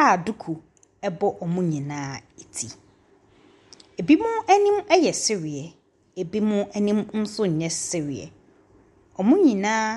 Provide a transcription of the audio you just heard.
a duku bɔ wɔn nyinaa ti, binom anim yɛ sereɛ, binom nso anim nyɛ sereɛ, wɔn nyinaa .